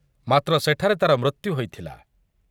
ମାତ୍ର ସେଠାରେ ତା'ର ମୃତ୍ୟୁ ହୋଇଥିଲା ।